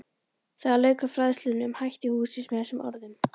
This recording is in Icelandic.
Þar lauk hann fræðslunni um hætti hússins með þessum orðum